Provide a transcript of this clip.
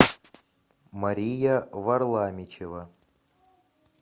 мария варламичева